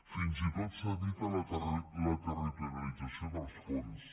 fins i tot s’evita la territorialització dels fons